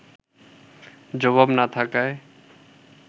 জবাব না থাকায়